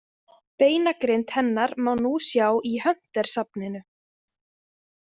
Beinagrind hennar má nú sjá í Hunter safninu.